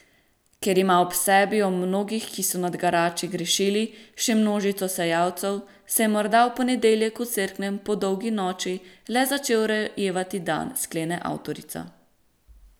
Ker ima ob sebi, ob mnogih, ki so nad garači grešili, še množico sejalcev, se je morda v ponedeljek v Cerknem po dolgi noči le začel rojevati dan, sklene avtorica.